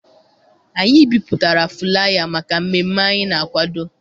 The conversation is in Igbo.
Anyị bipụtara fụlaya maka mmemme anyị na akwado.